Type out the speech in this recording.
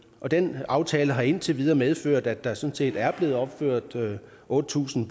og den aftale har indtil videre medført at der sådan set er blevet opført otte tusind